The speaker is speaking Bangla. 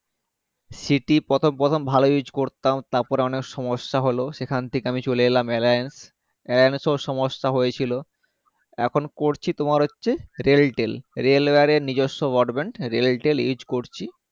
siti প্রথম প্রথম ভালো use করতাম তারপর অনেক সমস্যা হলো সেখান থেকে আমি চলে এলাম alliance alliance এও সমস্যা হয়েছিল এখন করছি তোমার হচ্ছে realtor railware এর নিজস্ব broadband railtel use করছি